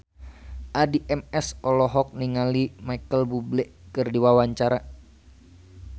Addie MS olohok ningali Micheal Bubble keur diwawancara